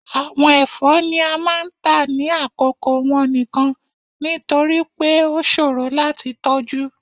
Awọn ẹfọ ni a máà ń ta ni akoko wọn nikan, nitori pe o ṣoro lati tọju.